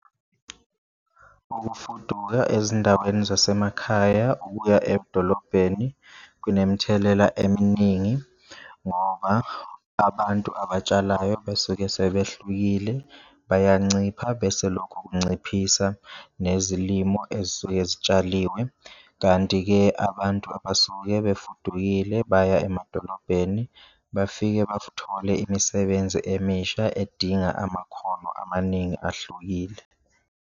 Ukufuduka ezindaweni zasemakhaya ukuya edolobheni kunemithelela eminingi ngoba abantu abatshalayo besuke sebehlukile, bayancipha bese lokho kunciphisa nezilimo ezisuke zitshaliwe. Kanti-ke, abantu abasuke befudukile baya emadolobheni bafike imisebenzi emisha edinga amakhono amaningi ahlukile.